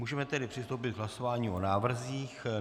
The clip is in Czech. Můžeme tedy přistoupit k hlasování o návrzích.